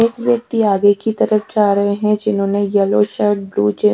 एक व्यक्ति आगे कि तरफ जा रहे है जिन्होंने येल्लो शर्ट ब्लु जींस --